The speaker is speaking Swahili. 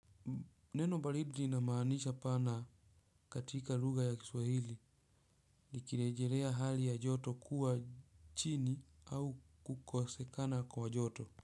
Neno "baridi" lina maana pana katika lugha ya Kiswahili, likirejelea hali ya joto kuwa chini au kukosekana kwa joto.